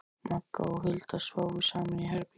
Magga og Hulda sváfu saman í herbergi.